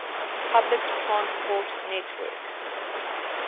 public transport network